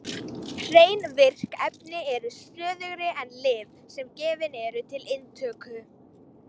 Hrein virk efni eru stöðugri en lyf sem gefin eru til inntöku.